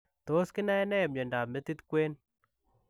Tos kinae nee miondoop metiit kween?